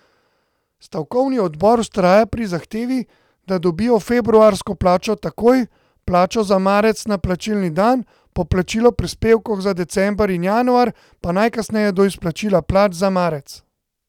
Stavkovni odbor vztraja pri zahtevi, da dobijo februarsko plačo takoj, plačo za marec na plačilni dan, poplačilo prispevkov za december in januar pa najkasneje do izplačila plač za marec.